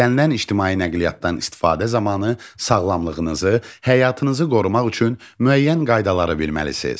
İstənilən ictimai nəqliyyatdan istifadə zamanı sağlamlığınızı, həyatınızı qorumaq üçün müəyyən qaydaları bilməlisiniz.